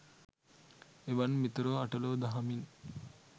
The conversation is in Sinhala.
එවන් මිතුරෝ අට ලෝ දහමින්